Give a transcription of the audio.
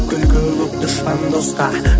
күлкі боп дұшпан досқа